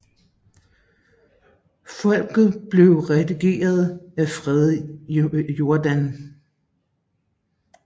Folket blev redigeret af Frede Jordan